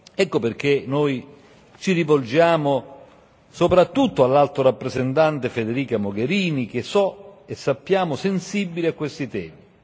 Ecco perché noi ci rivolgiamo soprattutto all'alto rappresentante Federica Mogherini, che so e sappiamo sensibile a questi temi.